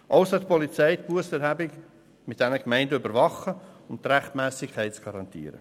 Auch soll die Polizei die Bussenerhebung zusammen mit den Gemeinden überwachen, um die Rechtmässigkeit zu garantieren.